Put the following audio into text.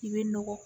I bɛ nɔgɔ